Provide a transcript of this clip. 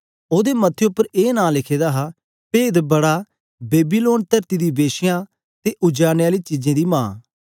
ओदे मथे उपर ए नां लिखे दा हा पेदबड़ा बेबीलोन तरती दी के श्यां ते उजाड़ने आली चीजें दी मां